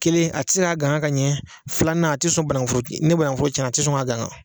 Kelen a tɛ se ka gangan ka ɲɛ, filanan a tɛ sɔn bananku foro tigi, ni bananku foro tiɲɛna a tɛ sɔn ka gangan.